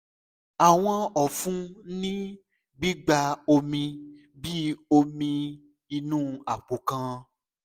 awọn ọfun ni gbigba omi bi omi inu apo kan